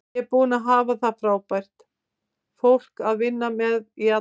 Ég er búinn að hafa frábært fólk að vinna með í alla staði.